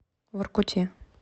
воркуте